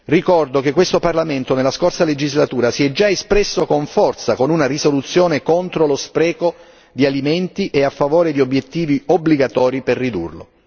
Ricordo che questo Parlamento, nella scorsa legislatura, si è già espresso con forza con una risoluzione contro lo spreco di alimenti e a favore di obiettivi obbligatori per ridurlo.